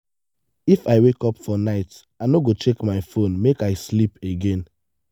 if i wake up for night i no go check phone make i sleep again.